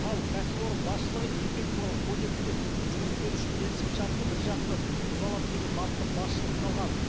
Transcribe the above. ал кәсіпорын басшылығы еңбек туралы кодексте жұмыс беруші келісімшартты біржақты бұза алады деген бапты басшылыққа алған